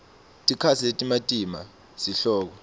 tikatsi letimatima sihloko